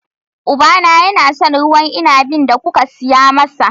Ubana yana son ruwan inabin da kuka saya masa.